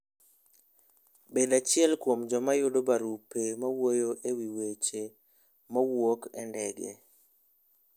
Bed achiel kuom joma yudo barupe mawuoyo e wi weche mawuok e ndege.